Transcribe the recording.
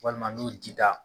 Walima n'o jida.